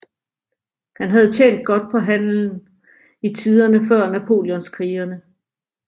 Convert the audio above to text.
Han havde tjent godt på handelen i tiderne før Napoleonskrigene